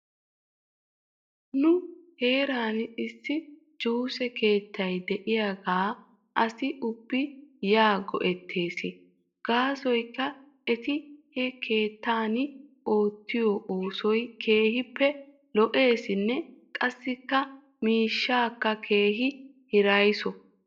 Nu heeran issi juuse keettay diyaagaa asi ubbi yan go'ettss. Gaasoykka eti he keettan oottiyoo oosoy keehippe lo'eesinne qassikka miishaaka keehi hiraysso.